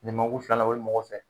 jamakulu filanan o mɔgɔw fɛ